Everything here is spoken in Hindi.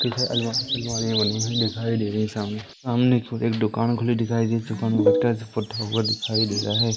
किधर अलमारी अलमारियां बनी है दिखाई दे री है सामने सामने की ओर एक दुकान खुली दिखाई दे दिखाई दे रहा है।